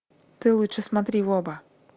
ты лучше смотри в оба